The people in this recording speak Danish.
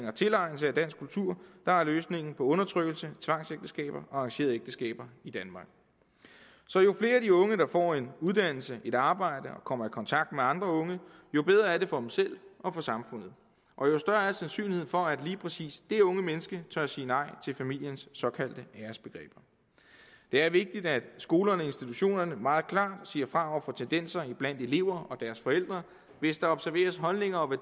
og tilegnelse af dansk kultur der er løsningen på undertrykkelse tvangsægteskaber og arrangerede ægteskaber i danmark så jo flere af de unge der får en uddannelse et arbejde og kommer i kontakt med andre unge jo bedre er det for dem selv og for samfundet og jo større er sandsynligheden for at lige præcis de unge mennesker tør sige nej til familiens såkaldte æresbegreber det er vigtigt at skolerne og institutionerne meget klart siger fra over for tendenser blandt elever og deres forældre hvis der observeres holdninger og